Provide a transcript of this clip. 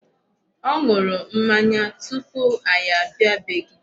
Ọ ṅụrụ mmanya tupu anyị abịa bee gị.